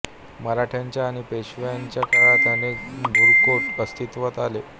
मराठ्यांच्या आणि पेशवाईच्या काळात अनेक भुईकोट अस्तित्वात आले